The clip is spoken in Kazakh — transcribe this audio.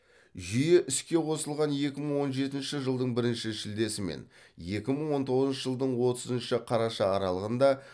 жүйе іске қосылған екі мың он жетінші жылдың бірінші шілдесі мен екі мың он тоғызыншы жылдың отызыншы қараша аралығында